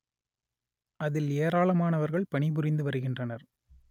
அதில் ஏராளமானவர்கள் பணி புரிந்து வருகின்றனர்